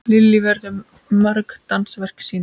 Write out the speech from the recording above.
Lillý, verða mörg dansverk sýnd?